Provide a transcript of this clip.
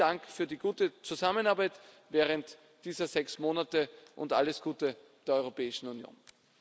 Vielen Dank für die gute Zusammenarbeit während dieser sechs Monate und alles Gute der Europäischen Union.